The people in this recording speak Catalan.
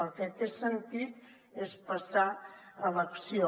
el que té sentit és passar a l’acció